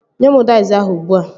Nye mụ daiz ahụ ugbua!